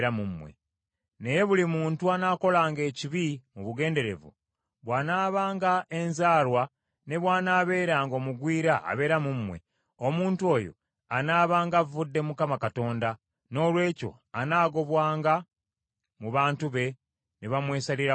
“Naye buli muntu anaakolanga ekibi mu bugenderevu, bw’anaabanga enzaalwa ne bw’anaabeeranga omugwira abeera mu mmwe, omuntu oyo anaabanga avvodde Mukama Katonda, noolwekyo anaagobwanga mu bantu be, ne bamwesalirako ddala.